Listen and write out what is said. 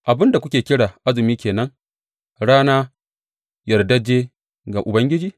Abin da kuke kira azumi ke nan rana yardajje ga Ubangiji?